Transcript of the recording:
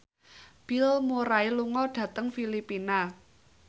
Bill Murray lunga dhateng Filipina